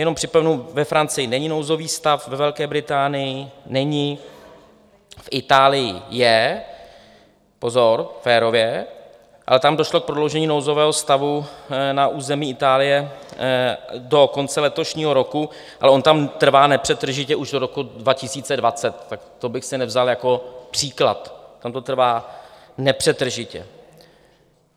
Jenom připomenu, ve Francii není nouzový stav, ve Velké Británii není, v Itálii je - pozor, férově, ale tam došlo k prodloužení nouzového stavu na území Itálie do konce letošního roku, ale on tam trvá nepřetržitě už od roku 2020, tak to bych si nevzal jako příklad, tam to trvá nepřetržitě.